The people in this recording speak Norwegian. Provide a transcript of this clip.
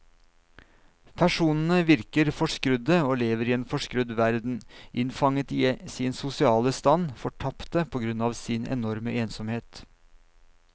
Personene virker forskrudde og lever i en forskrudd verden, innfanget i sin sosiale stand, fortapte på grunn av sin enorme ensomhet.